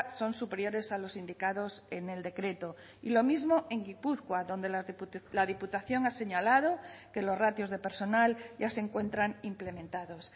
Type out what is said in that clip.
son superiores a los indicados en el decreto y lo mismo en gipuzkoa donde la diputación ha señalado que los ratios de personal ya se encuentran implementados